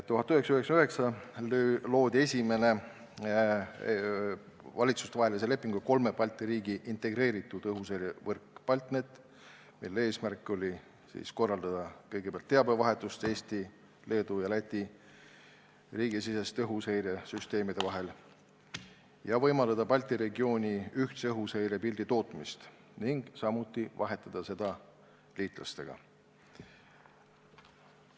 1999 loodi Balti riikide valitsuste vahelise lepinguga esimene kolme Balti riigi integreeritud õhuseirevõrk BALTNET, mille eesmärk oli korraldada teabevahetust Eesti, Leedu ja Läti riigisiseste õhuseiresüsteemide vahel, võimaldada Balti regiooni ühtse õhuseirepildi tootmist ning vahetada seda liitlastega.